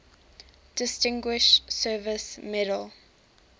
distinguished service medal